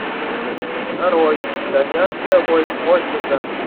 нарой итальянская гонщица